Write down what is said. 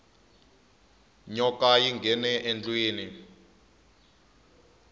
nyoka yi nghene endlwini